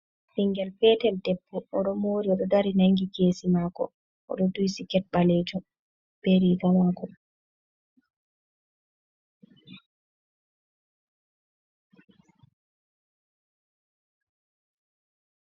Bingel petel debbo odo mori odo dari nangi kesi mako ,odo duyi siket balejum be riga ka mako.